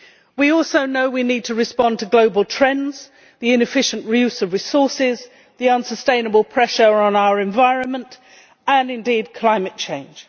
We also know we need to respond to global trends, the inefficient re use of resources, the unsustainable pressure on our environment and, indeed, climate change.